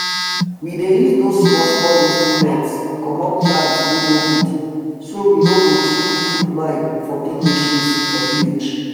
we dey use dose small small instruments comot plants wey no good so we no go too put mind for big machines for village